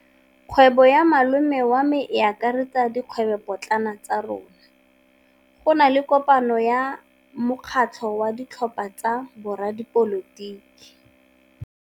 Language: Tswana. Kgwêbô ya malome wa me e akaretsa dikgwêbôpotlana tsa rona. Go na le kopanô ya mokgatlhô wa ditlhopha tsa boradipolotiki.